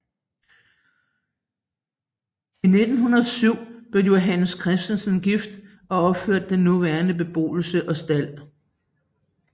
I 1907 blev Johannes Kristensen gift og opførte den nuværende beboelse og stald